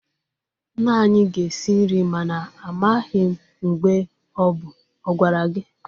Nne anyi ga-esi nri mana amaghi mgbe o bu. Ọ gwara gi?